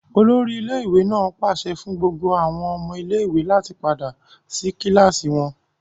Olori ile-iwe naa paṣẹ fun gbogbo awọn ọmọ ile-iwe lati pada si kilasi wọn!